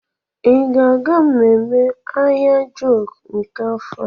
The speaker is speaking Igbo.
Ị ga-aga ememme Ahiajọkụ nke afọ a?